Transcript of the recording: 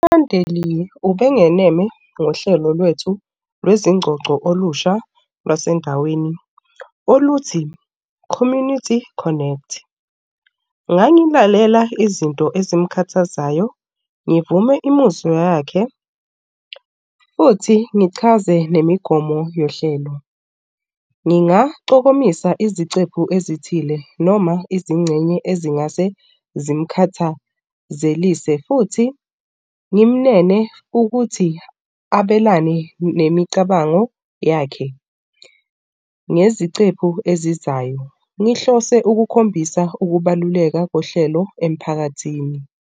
UMandeliya ubengeneme ngohlelo lwethu lwezingxoxo olusha lwasendaweni oluthi community connect. Ngangidlalela izinto ezimkhathazayo, ngivume imizwa yakhe futhi ngichaze nemigomo yohlelo, Ngingaxokomisa izicephu ezithile noma izingxenye ezingase zimkhathazelise futhi ngimmeme ukuthi abelane nemicabango yakhe ngezicephu ezizayo. Ngihlose ukukhombisa ukubaluleka kohlelo emphakathini.